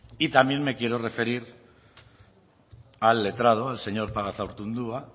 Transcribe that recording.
y también me quiero referir al letrado al señor pagazaurtundua